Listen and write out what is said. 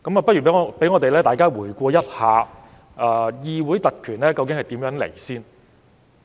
先讓大家回顧一下議會特權的由來。